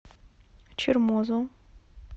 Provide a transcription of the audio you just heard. чермозу